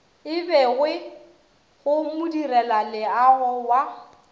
e begwe go modirelaleago wa